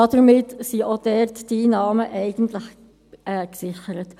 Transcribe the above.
Damit sind auch dort die Einnahmen eigentlich gesichert.